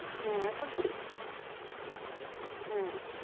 হ্যাঁ, এখন হ্যাঁ।